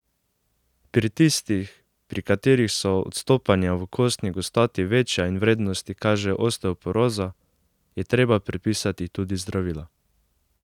Pri tistih, pri katerih so odstopanja v kostni gostoti večja in vrednosti kažejo osteoporozo, je treba predpisati tudi zdravilo.